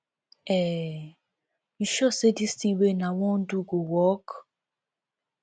um you sure say dis thing wey una wan do go work